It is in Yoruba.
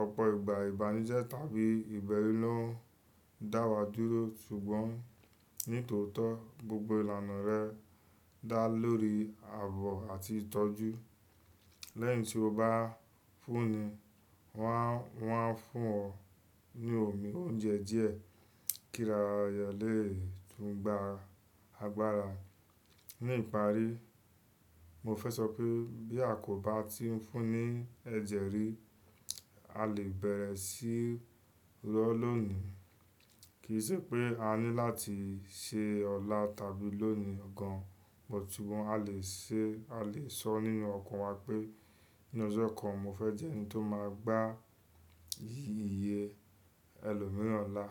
Ọ̀pọ̀ ìgbà ìbánujẹ́ tàbí ìbẹ̀rú ló ń dá wa dúró ṣùgbọ́n nítòótọ́ gbogbo ìlànà rẹ dá lórí ààbò àti ìtọ́jú. Lẹ́yìn tí o bá fúnni, wọ́n a, wọ́n a fún ọ ní omi, oúnjẹ díẹ̀ kí ara rẹ lè tún gba agbára. Ní ìparí, mo fẹ́ sọ pé bí a kò bá ti ń fúnni ẹ̀jẹ̀ rí, a lè bẹ̀rẹ̀ sí lọ lónìí. Kì í ṣe pé a ní láti ṣe ọlá tàbí lónìí gan an but ṣùgbọ́n a lè ṣe, a lè sọ nínú ọkàn wa pé ní ọjọ́ kan mo fẹ́ jẹ́ ẹni tó máa gba iye ẹlòmíràn là.